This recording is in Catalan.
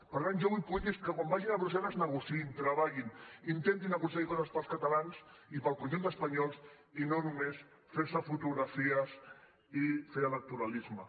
per tant jo vull polítics que quan vagin a brussel·les negociïn treballin intentin aconseguir coses per als catalans i per al conjunt d’espanyols i no només a fer se fotografies i fer electoralisme